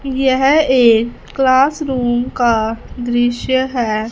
यह एक क्लासरूम का दृश्य है।